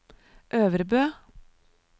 Øvrebø